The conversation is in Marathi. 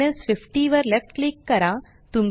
हार्डनेस 50 वर लेफ्ट क्लिक करा